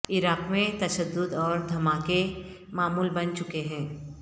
عراق میں تشدد اور دھماکے معمول بن چکے ہیں